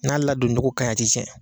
N'a ladonjogo ka ɲi a ti cɛn.